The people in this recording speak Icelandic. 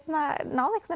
náði